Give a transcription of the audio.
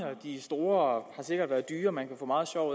de er store og har sikkert været dyre man kan få meget sjov